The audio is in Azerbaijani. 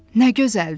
Nə gözəldir.